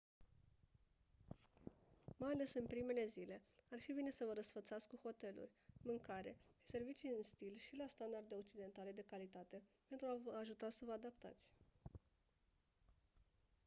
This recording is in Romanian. mai ales în primele zile ar fi bine să vă răsfățați cu hoteluri mâncare și servicii în stil și la standarde occidentale de calitate pentru a vă ajuta să vă adaptați